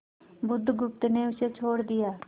बुधगुप्त ने उसे छोड़ दिया